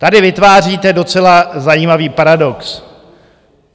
Tady vytváříte docela zajímavý paradox.